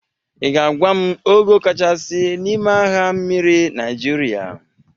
Ị ga-agwa m ogo kachasị n'ime agha mmiri Nịajịrịa?